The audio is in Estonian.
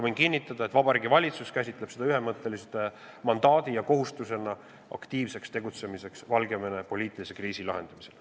Võin kinnitada, et Vabariigi Valitsus käsitleb seda ühemõttelise mandaadi ja kohustusena tegutseda aktiivselt Valgevene poliitilise kriisi lahendamisel.